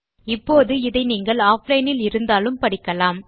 இப்போது இதை நீங்கள் ஆஃப்லைன் இல் இருந்தாலும் படிக்கலாம்